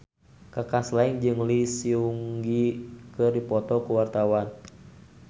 Kaka Slank jeung Lee Seung Gi keur dipoto ku wartawan